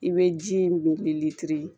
I bɛ ji in